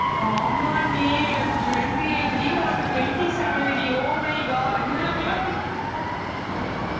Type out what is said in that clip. ஆமாண்டி எனக்கு twenty eight டி உனக்கு twenty seven டி oh my god